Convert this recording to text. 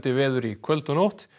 veður í kvöld og nótt